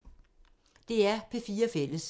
DR P4 Fælles